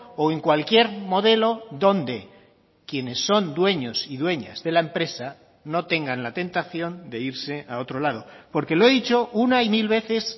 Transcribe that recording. o en cualquier modelo donde quienes son dueños y dueñas de la empresa no tengan la tentación de irse a otro lado porque lo he dicho una y mil veces